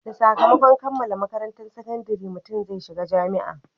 Da sakamakon kammala makarantan sakandare, mutum zai shiga jami'a